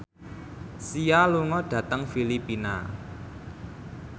Sia lunga dhateng Filipina